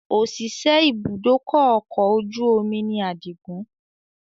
Òṣìṣẹ́ ibùdókọ̀ ọkọ̀ ojú omi ni àdìgún